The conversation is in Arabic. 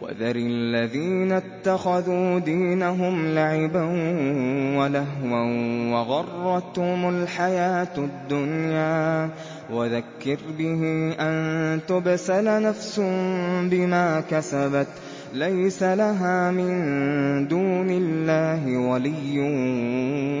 وَذَرِ الَّذِينَ اتَّخَذُوا دِينَهُمْ لَعِبًا وَلَهْوًا وَغَرَّتْهُمُ الْحَيَاةُ الدُّنْيَا ۚ وَذَكِّرْ بِهِ أَن تُبْسَلَ نَفْسٌ بِمَا كَسَبَتْ لَيْسَ لَهَا مِن دُونِ اللَّهِ وَلِيٌّ